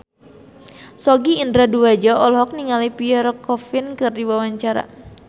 Sogi Indra Duaja olohok ningali Pierre Coffin keur diwawancara